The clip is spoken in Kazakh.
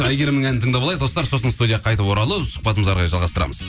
әйгерімнің әнін тыңдап алайық достар сосын студияға қайтып оралып сұхбатымызды әрі қарай жалғастырамыз